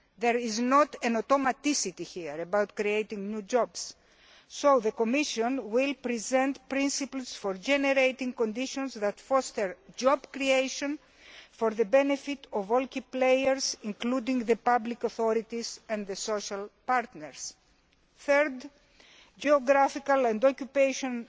There is nothing automatic about creating new jobs. The Commission will therefore present principles for generating conditions that foster job creation for the benefit of all key players, including the public authorities and the social partners. Thirdly, geographical and occupational